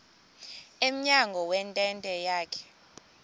emnyango wentente yakhe